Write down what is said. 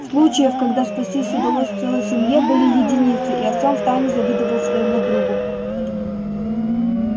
случаев когда спастись удалось целой семье были единицы и артём втайне завидовал своему другу